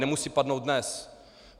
Nemusí padnout dnes.